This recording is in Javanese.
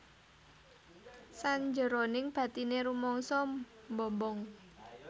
Sanjeroning batine rumangsa mbombong